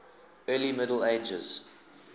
early middle ages